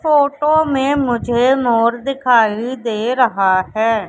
Photo में मुझे मोर दिखाई दे रहा है।